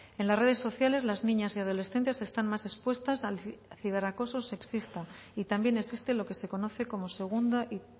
en las redes sociales las niñas y adolescentes están más expuestas al ciberacoso sexista y también existe lo que se conoce como segunda y